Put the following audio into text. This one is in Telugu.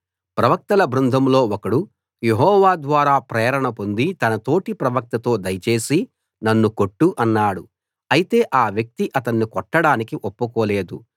ప్రవక్తల బృందంలో ఒకడు యెహోవా ద్వారా ప్రేరణ పొంది తన తోటి ప్రవక్తతో దయచేసి నన్ను కొట్టు అన్నాడు అయితే ఆ వ్యక్తి అతన్ని కొట్టడానికి ఒప్పుకోలేదు